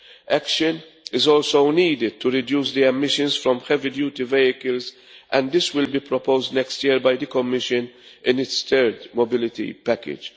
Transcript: Action is also needed to reduce emissions from heavy duty vehicles and this will be proposed next year by the Commission in its third mobility package.